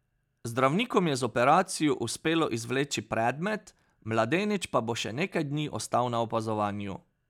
Zdravnikom je z operacijo uspelo izvleči predmet, mladenič pa bo še nekaj dni ostal na opazovanju.